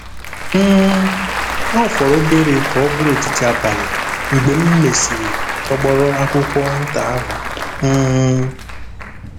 um * Ọ fọrọ obere ka ọ bụrụ etiti abalị mgbe m mesịrị tọgbọrọ akwụkwọ nta ahụ um.